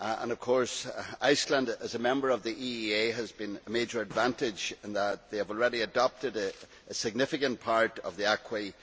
Of course, Iceland, as a member of the EEA, has had a major advantage in that they have already adopted a significant part of the acquis